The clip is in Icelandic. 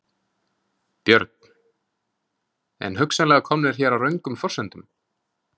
Björn: En hugsanlega komnir hér á röngum forsendum?